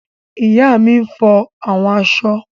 Ìyá mi n fọ àwọn aṣọ